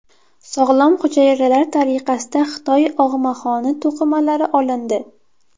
Sog‘lom hujayralar tariqasida Xitoy og‘maxoni to‘qimalari olindi.